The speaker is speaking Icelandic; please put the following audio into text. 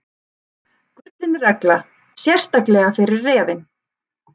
Gullin regla, sérstaklega fyrir refinn.